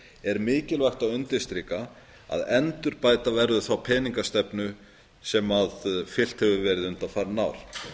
er mikilvægt að undirstrika að endurbæta verður þá peningamálastefna sem fylgt hefur verið undanfarin ár